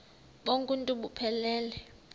bonk uuntu buphelele